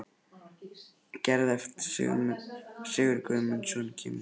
Gerði eftir að Sigurður Guðmundsson kemur frá Höfn.